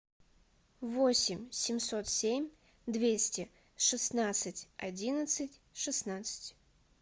восемь семьсот семь двести шестнадцать одиннадцать шестнадцать